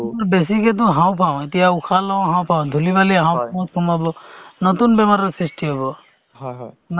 হৈ গৈ আছিলে cancer বেমাৰৰ পাই যে আ যিটোয়ে উম accident হ'ল বা তেনেকে দুই তিন লাখৰ মাটি বেচি পইচা দিয়ে নহয় জানো